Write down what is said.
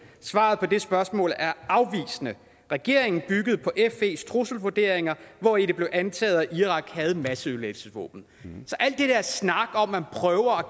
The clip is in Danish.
svaret på det spørgsmål er afvisende regeringen byggede på fes trusselsvurderinger hvori det bliver antaget at irak havde masseødelæggelsesvåben så al den der snak hvor man prøver